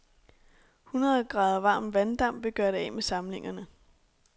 Hundrede grader varm vanddamp ville gøre det af med samlingerne.